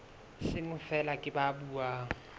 seng feela ke ba buang